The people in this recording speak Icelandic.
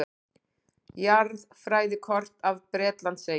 Jarðfræðikort af Bretlandseyjum.